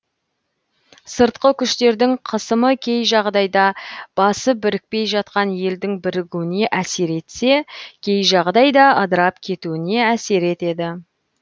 сыртқы күштердің қысымы кей жағдайда басы бірікпей жатқан елдің бірігуіне әсер етсе кей жағдайда ыдырап кетуіне әсер етеді